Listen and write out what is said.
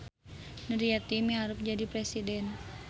Nuryeti miharep jadi presiden